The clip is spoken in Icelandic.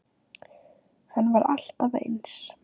Hann var alltaf eins.